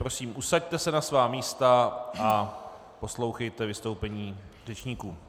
Prosím, usaďte se na svá místa a poslouchejte vystoupení řečníků.